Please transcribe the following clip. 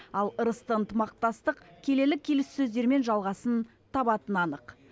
ал ырысты ынтымақтастық келелі келіссөздермен жалғасын табатыны анық